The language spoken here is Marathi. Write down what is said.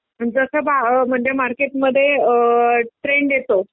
जसं म्हणजे मार्केटमध्ये अ ट्रेंड येतो